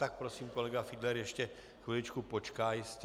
Tak prosím, kolega Fiedler ještě chviličku počká, jistě.